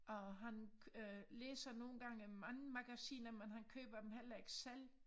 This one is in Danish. Og han øh læser nogle gange mange magasiner men han køber dem heller ikke selv